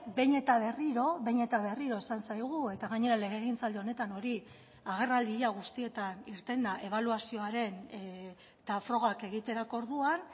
behin eta berriro behin eta berriro esan zaigu eta gainera legegintzaldi honetan hori agerraldi ia guztietan irten da ebaluazioaren eta frogak egiterako orduan